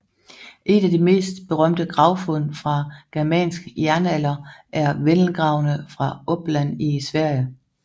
Et af de mest berømte gravfund fra germansk jernalder er Vendelgravene fra Uppland i Sverige